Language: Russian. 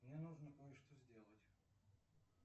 мне нужно кое что сделать